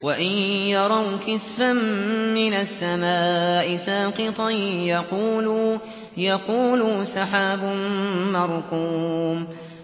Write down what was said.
وَإِن يَرَوْا كِسْفًا مِّنَ السَّمَاءِ سَاقِطًا يَقُولُوا سَحَابٌ مَّرْكُومٌ